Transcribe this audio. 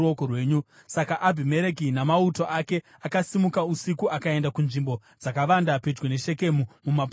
Saka Abhimereki namauto ake akasimuka usiku akaenda kunzvimbo dzakavanda pedyo neShekemu mumapoka mana.